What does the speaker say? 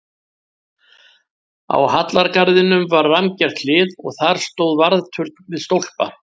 Á hallargarðinum var rammgert hlið og þar stóð varðturn við stólpa.